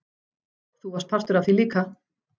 Þú varst partur af því líka.